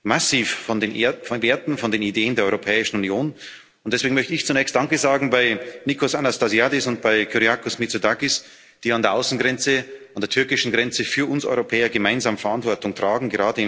massiv von den Werten, von den Ideen der Europäischen Union, und deswegen möchte ich zunächst Danke sagen bei Nikos Anastasiadis und bei Kyriakos Mitsotakis, die an der Außengrenze, an der türkischen Grenze für uns Europäer gemeinsam Verantwortung tragen.